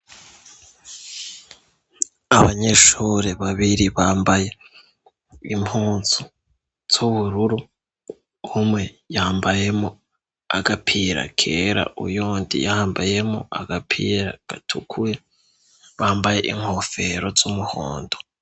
Abanyeshure babiri bambaye impuzu z'ubururu, umwe yambayemwo agapira kera, uyundi yambayemwo agapira gatukuye, bambaye inkofero z'umuhondo.